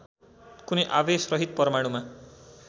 कुनै आवेशरहित परमाणुमा